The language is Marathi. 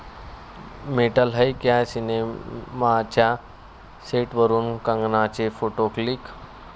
मेंटल है क्या' सिनेमाच्या सेटवरून कंगनाचे फोटो लिक